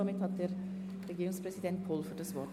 Somit hat Herr Regierungspräsident Pulver das Wort.